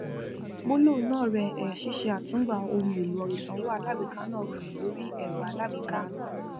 gbólóhùn náà rè é ṣíṣe àtúngbà ohun èlò ìsanwó alágbèéká náà rọrùn lórí ẹrọ alágbèéká mi